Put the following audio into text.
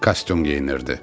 Kostyum geyinirdi.